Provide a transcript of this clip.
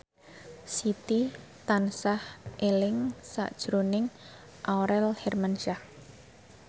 Siti tansah eling sakjroning Aurel Hermansyah